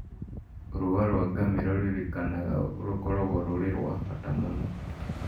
Rũa rwa ngamĩra nĩrũrerĩkana gũkorwo rũrĩ rwa bata mũno